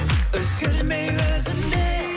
өзгермей өзімде